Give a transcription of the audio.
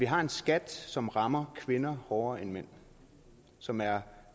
har en skat som rammer kvinder hårdere end mænd og som er